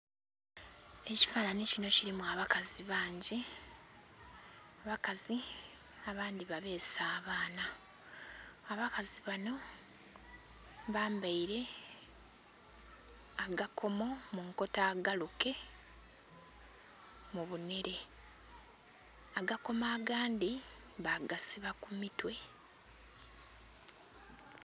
Ekifananhi kinho kilimu abakazi bangi abakazi abandhi babeese abaana, abakazi banho bambaire akakomo munkoto agaluke mu binhere agakomo agandhi babasiba ku mitwe.